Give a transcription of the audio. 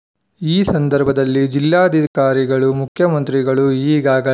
ಈ ಸಂದರ್ಭದಲ್ಲಿ ಜಿಲ್ಲಾಧಿಕಾರಿಗಳು ಮುಖ್ಯಮಂತ್ರಿಗಳು ಈಗಾಗ